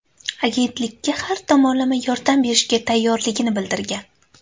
Agentlikka har tomonlama yordam berishga tayyorligini bildirgan.